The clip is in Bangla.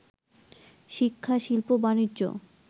শিক্ষা, শিল্প, বাণিজ্য